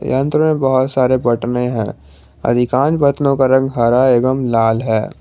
यंत्र मे बहोत सारे बटने हैं अधिकांश बटनों का रंग हरा एवं लाल है।